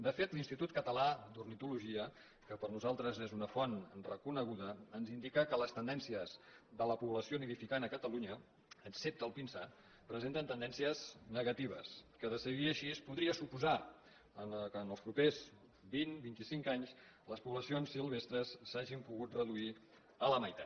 de fet l’institut català d’ornitologia que per a nosaltres és una font reconeguda ens indica que les tendències de la població nidificant a catalunya excepte el pinsà presenten tendències negatives que de seguir així podria suposar que en els propers vint vint i cinc anys les poblacions silvestres s’hagin pogut reduir a la meitat